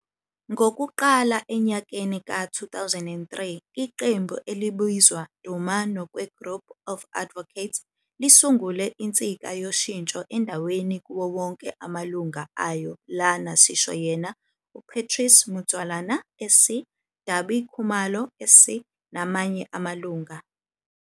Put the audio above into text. Ngokuqala enyakeni ka-2003 iqembu elibizwa Duma Nokwe Group of Advocates lisungule insika yoshintsho endaweni kuwo wonke amalunga ayo lana sisho yena uPatrice Mtshualana SC, Dabi Kumalo SC, namanye amalunga.